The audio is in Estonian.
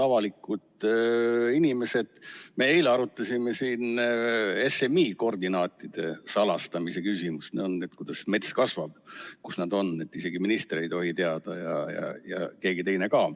Aga me eile arutasime siin SMI koordinaatide salastamise küsimust: kuidas mets kasvab, kus on, isegi minister ei tohi teada ja keegi teine ka.